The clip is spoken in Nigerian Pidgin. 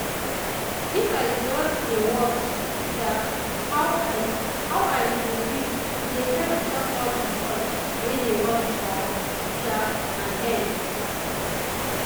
if i just dey watch um how i how i dey breathe e dey help calm all the thoughts wey dey run for um my head.